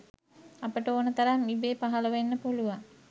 අපට ඕනෙ තරම් ඉබේ පහළ වෙන්න පුළුවන්